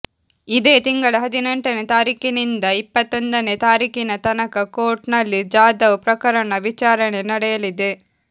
ಇದೇ ತಿಂಗಳ ಹದಿನೆಂಟನೇ ತಾರೀಕಿನಿಂದ ಇಪ್ಪತ್ತೊಂದನೇ ತಾರೀಕಿನ ತನಕ ಕೋರ್ಟ್ ನಲ್ಲಿ ಜಾಧವ್ ಪ್ರಕರಣದ ವಿಚಾರಣೆ ನಡೆಯಲಿದೆ